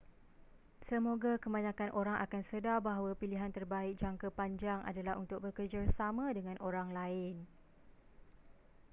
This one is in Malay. semoga kebanyakan orang akan sedar bahawa pilihan terbaik jangka panjang adalah untuk bekerjasama dengan orang lain